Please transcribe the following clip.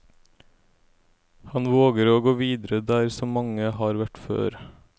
Han våger å gå videre der så mange har vært før.